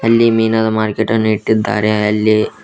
ಅಲ್ಲಿ ಮೀನದ ಮಾರ್ಕೆಟ್ ಅನ್ನು ಇಟ್ಟಿದ್ದಾರೆ ಅಲ್ಲಿ--